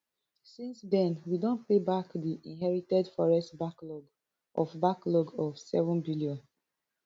since den we don pay back di inherited forex backlog of backlog of seven billion